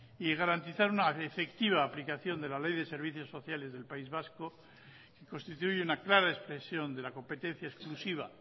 y garantizar una efectiva aplicación de la ley de servicios sociales del país vasco y constituir una clara expresión de la competencia exclusiva